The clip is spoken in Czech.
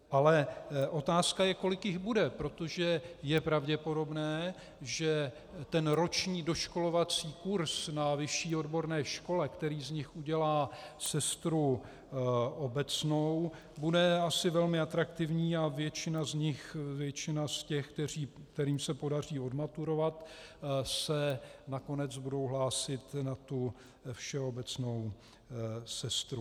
Ale otázka je, kolik jich bude, protože je pravděpodobné, že ten roční doškolovací kurs na vyšší odborné škole, který z nich udělá sestru obecnou, bude asi velmi atraktivní a většina z nich, většina z těch, kterým se podaří odmaturovat, se nakonec bude hlásit na tu všeobecnou sestru.